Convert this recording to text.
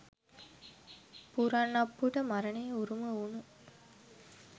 පුරන් අප්පුට මරණය උරුම වුන